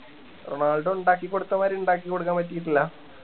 Ronaldo ഇണ്ടാക്കി കൊടുത്ത മാതിരി ഇണ്ടാക്കി കൊടുക്കാൻ പറ്റിയിട്ടില്ല